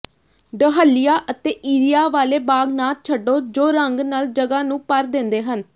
dahlia ਅਤੇ ਇਰਿਆ ਵਾਲੇ ਬਾਗ ਨਾ ਛੱਡੋ ਜੋ ਰੰਗ ਨਾਲ ਜਗ੍ਹਾ ਨੂੰ ਭਰ ਦਿੰਦੇ ਹਨ